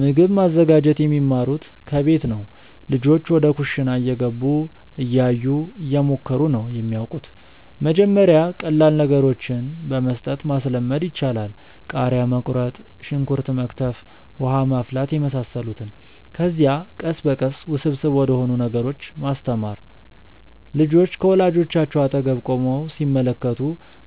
ምግብ ማዘጋጀት የሚማሩት ከቤት ነው። ልጆች ወደ ኩሽና እየገቡ፣ እያዩ፣ እየሞከሩ ነው የሚያወቁት። መጀመሪያ ቀላል ነገሮችን በመስጠት ማስለመድ ይቻላል። ቃሪያ መቁረጥ፣ ሽንኩርት መክተፍ፣ ውሃ ማፍላት የመሳሰሉትን። ከዚያ ቀስ በቀስ ውስብስብ ወደሆኑ ነገሮች ማስተማር። ልጆች ከወላጆቻቸው አጠገብ ቆመው ሲመለከቱ